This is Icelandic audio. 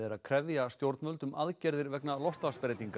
að krefja stjórnvöld um aðgerðir vegna